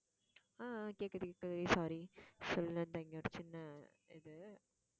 ஆஹ் ஆஹ் கேக்குது கேக்குது sorry சொல்லு அந்த இங்க ஒரு சின்ன இது